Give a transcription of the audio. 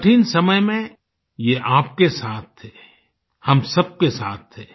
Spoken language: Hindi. कठिन समय में ये आपके साथ थे हम सबके साथ थे